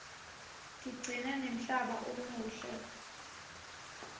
tigcina nemhlaba umuhle